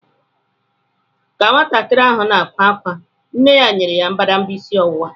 Ka nwatakịrị ahụ na-ebe ákwá, nne ya nyere ya mbadamba isi ọwụwa.